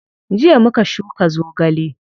Jiya muka shuka zogale.